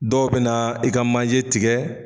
Dɔw bena i ka manje tigɛ